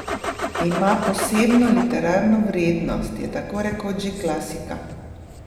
Ima posebno literarno vrednost, je takorekoč že klasika?